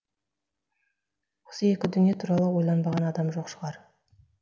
осы екі дүние туралы ойланбаған адам жоқ шығар